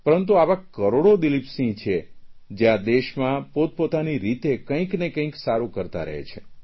પરંતુ આવા કરોડો દિલીપસિંહ છે જે આ દેશમાં પોતપોતાની રીતે કંઇક ને કંઇક સારૂં કરતા રહે છે